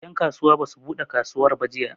En kasuwa basu buɗe kasuwar ba jiya